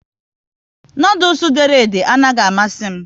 Noodules dere ede a naghị amasị m